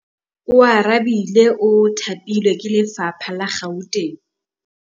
Oarabile o thapilwe ke lephata la Gauteng.